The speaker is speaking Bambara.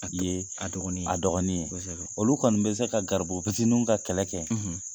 Ye a dɔgɔnin ye olu kɔni bɛ se ka garibu fitiininw ka kɛlɛ kɛ.